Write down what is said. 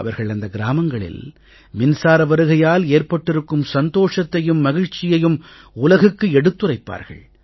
அவர்கள் அந்த கிராமங்களில் மின்சார வருகையால் ஏற்பட்டிருக்கும் சந்தோஷத்தையும் மகிழ்ச்சியையும் உலகுக்கு எடுத்துரைப்பார்கள்